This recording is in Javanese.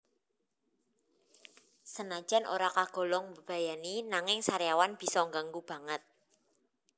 Senajan ora kagolong mbebayani nanging sariawan bisa ngganggu banget